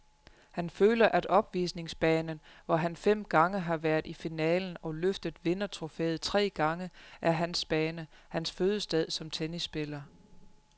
Han føler at opvisningsbanen, hvor han fem gange har været i finalen og løftet vindertrofæet tre gange, er hans bane, hans fødested som tennisspiller.